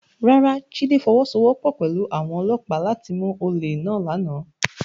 Rárá, Jide fọwọsowọpọ pẹlu awọn ọlọpa lati mu ole náà làná